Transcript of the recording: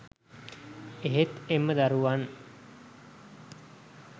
එහෙත් එම දරුවන්